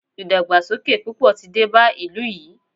ìdàgbàsókè púpọ̀ tí dé bá ìlú yìí.